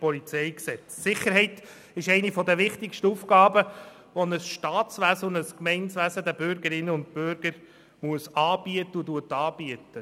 PolG. Sicherheit ist eine der wichtigsten Aufgaben, die ein Staats-, ein Gemeinwesen den Bürgerinnen und Bürgern anbietet und anbieten muss.